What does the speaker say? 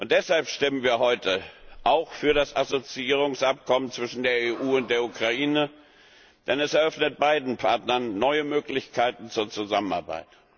Deshalb stimmen wir heute auch für das Assoziierungsabkommen zwischen der EU und der Ukraine, denn es eröffnet beiden Partnern neue Möglichkeiten zur Zusammenarbeit.